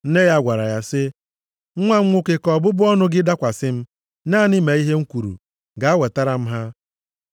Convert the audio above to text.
Nne ya gwara ya sị, “Nwa m nwoke ka ọbụbụ ọnụ gị dakwasị m. Naanị mee ihe m kwuru. Gaa wetara m ha.”